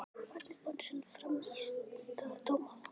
Hvernig fannst honum frammistaða dómarans?